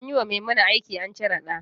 Anyi wa Maimuna aki an cire ɗa